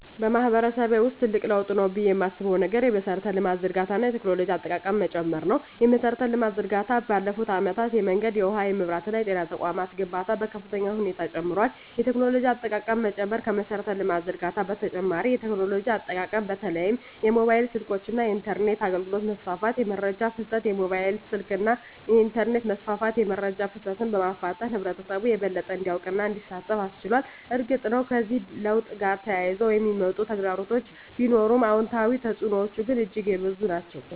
በማህበረሰቤ ውስጥ ትልቅ ለውጥ ነው ብዬ የማስበው ነገር የመሠረተ ልማት ዝርጋታ እና የቴክኖሎጂ አጠቃቀም መጨመር ነው። የመሠረተ ልማት ዝርጋታ ባለፉት አመታት የመንገድ፣ የውሃ፣ የመብራት እና የጤና ተቋማት ግንባታ በከፍተኛ ሁኔታ ጨምሯል። የቴክኖሎጂ አጠቃቀም መጨመር ከመሠረተ ልማት ዝርጋታ በተጨማሪ የቴክኖሎጂ አጠቃቀም በተለይም የሞባይል ስልኮች እና የኢንተርኔት አገልግሎት መስፋፋት። * የመረጃ ፍሰት: የሞባይል ስልክና የኢንተርኔት መስፋፋት የመረጃ ፍሰትን በማፋጠን ህብረተሰቡ የበለጠ እንዲያውቅና እንዲሳተፍ አስችሏል። እርግጥ ነው፣ ከዚህ ለውጥ ጋር ተያይዘው የሚመጡ ተግዳሮቶች ቢኖሩም፣ አዎንታዊ ተፅዕኖዎቹ ግን እጅግ የበዙ ናቸው።